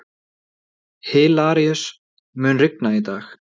Hilaríus, mun rigna í dag?